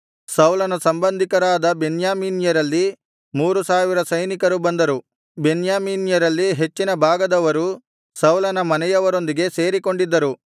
ಸೌಲನ ಸಂಬಂಧಿಕರಾದ ಬೆನ್ಯಾಮೀನ್ಯರಲ್ಲಿ ಮೂರು ಸಾವಿರ ಸೈನಿಕರು ಬಂದರು ಬೆನ್ಯಾಮೀನ್ಯರಲ್ಲಿ ಹೆಚ್ಚಿನ ಭಾಗದವರು ಸೌಲನ ಮನೆಯವರೊಂದಿಗೆ ಸೇರಿಕೊಂಡಿದ್ದರು